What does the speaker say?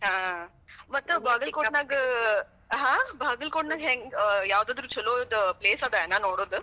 ಹ್. ಮತ್ ಬಾಗಲಕೋಟಿನಾಗ ಹಾ ಬಾಗಲಕೋಟಿನಾಗ ಹೆಂಗ್ ಯಾವುದಾದ್ರುಛಲೋದ place ಅದೇನಾ ನೋಡೋದ?